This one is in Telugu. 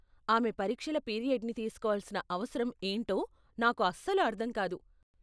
ఆమె పరీక్షల పీరియడ్ని తీసుకోవాల్సిన అవసరం ఏంటో నాకు అస్సలు అర్థం కాదు.